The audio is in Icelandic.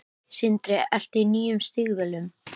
Sindri: Ertu í nýjum stígvélum?